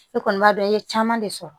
E kɔni b'a dɔn i ye caman de sɔrɔ